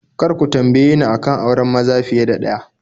Kar ku tambaye ni a kan auren maza fiye da ɗaya